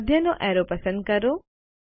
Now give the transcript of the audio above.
મધ્યનો arrow પસંદ કરો